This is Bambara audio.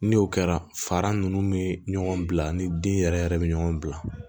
Ni o kɛra fara ninnu bɛ ɲɔgɔn bila ni den yɛrɛ yɛrɛ bɛ ɲɔgɔn bila